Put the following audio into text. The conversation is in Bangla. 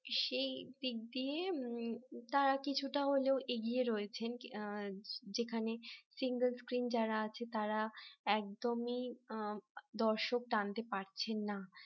সেই পিক দিয়ে তারা কিছুটা হলেও এগিয়ে রয়েছেন যেখানে single screen যারা আছে তারা একদমই দর্শক টানতে পারছেন না